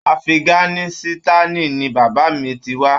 Afiganisitani ní bàbá mí tí wá.